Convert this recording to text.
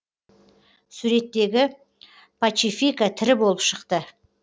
суреттегі пачифика тірі болып шықты